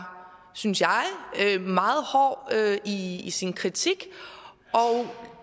synes jeg meget hård i i sin kritik